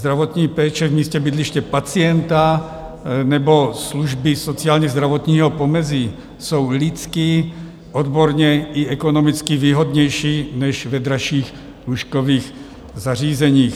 Zdravotní péče v místě bydliště pacienta nebo služby sociálně-zdravotního pomezí jsou lidsky, odborně i ekonomicky výhodnější než v dražších lůžkových zařízeních.